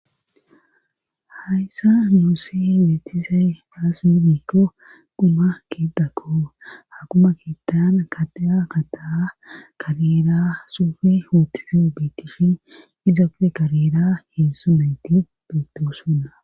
hayssa muosse weetizay aasse miikko quma keetakko hakuma keettan katea kataa kareera suufe hootize biitifi izappe kareera heensumeti beitossuna